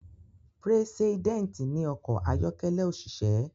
Preseident ní ọkọ̀ ayọ́kẹ́lẹ́ òṣìṣẹ́.